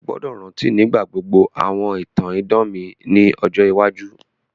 O gbọ́dọ̀ rántí nígbà gbogbo àwọn ìtàn idán mi ni ọjọ iwájú.